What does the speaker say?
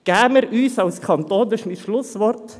An den Präsidenten gerichtet, dies ist mein Schlusswort: